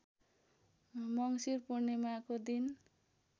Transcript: मङ्सिर पूर्णिमाको दिन